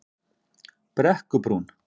Brekkubrún